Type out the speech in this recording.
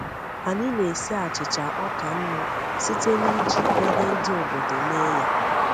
Anyị na-esi achịcha ọka nnu site n’iji ihe ndị obodo mee ya.